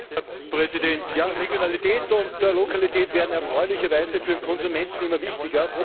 Herr Präsident! Regionalität und Lokalität werden erfreulicherweise für den Konsumenten immer wichtiger.